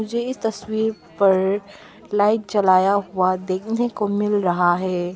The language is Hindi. मुझे इस तस्वीर पर लाइट जलाया हुआ देखने को मिल रहा है।